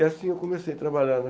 E assim eu comecei a trabalhar.